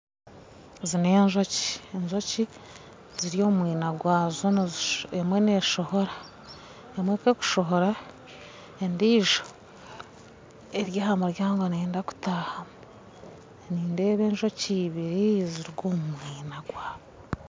Ezi n'enjoki, enjoki ziri omu mwina gwazo emwe neshohora, emwe ku erukushohora , endijo eri aha muryango neyenda kutahamu .Nindeeba enjoki ibiri niziruga omu mwina gwazo.